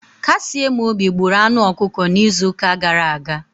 Kasiemobi gburu anụ ọkụkọ n'izu ụka gara aga.